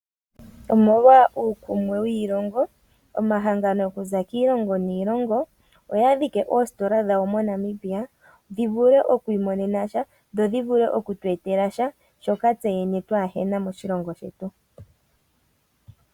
Omolwa uukumwe wiilongo omahangano okuza kiilingo niilongo oya dhike oositola dhawo moNamibia dhivule okwiimonena sha dho dhivule okutu etela sha shoka tseyene kaatuna moshilongo shetu.